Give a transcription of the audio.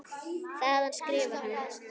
Þaðan skrifar hann